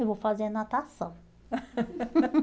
Eu vou fazer natação.